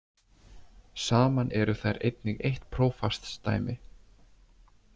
Saman eru þær einnig eitt prófastsdæmi.